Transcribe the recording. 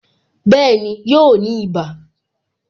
Bẹẹni, yóò ní ibà